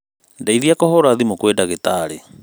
Ndeithia kũhũra thimû kwĩ dagĩtari